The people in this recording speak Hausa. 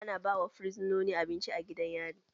Ana ba wa fursononi abinci a gidan yari.